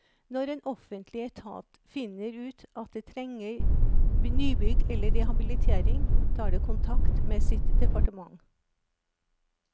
Når en offentlig etat finner ut at det trenger nybygg eller rehabilitering, tar det kontakt med sitt departement.